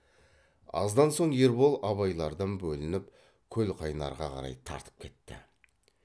аздан соң ербол абайлардан бөлініп көлқайнарға қарай тартып кетті